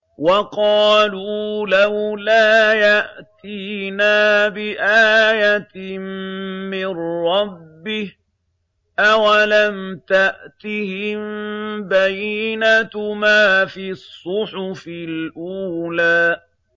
وَقَالُوا لَوْلَا يَأْتِينَا بِآيَةٍ مِّن رَّبِّهِ ۚ أَوَلَمْ تَأْتِهِم بَيِّنَةُ مَا فِي الصُّحُفِ الْأُولَىٰ